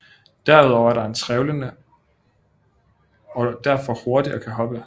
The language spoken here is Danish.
Derudover er den trælevende og er derfor hurtig og kan hoppe